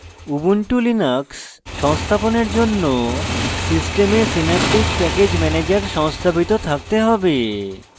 ubuntu linux সংস্থাপনের জন্য system synaptic package manager সংস্থাপিত থাকতে have